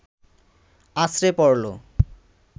আছড়ে পড়ল